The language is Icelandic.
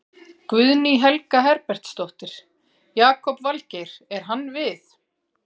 Guðný Helga Herbertsdóttir: Jakob Valgeir, er hann við?